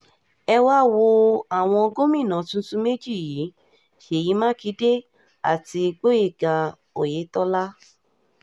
ẹ um wáá wo àwọn gómìnà tuntun méjì yìí um ṣèyí mákindé àti àti gboyega oyetola